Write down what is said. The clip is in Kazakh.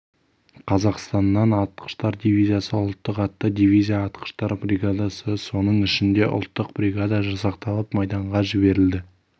қазақстаннан атқыштар дивизиясы ұлттық атты дивизия атқыштар бригадасы соның ішінде ұлттық бригада жасақталып майданға жіберілді